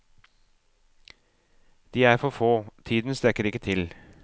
De er for få, tiden strekker ikke til.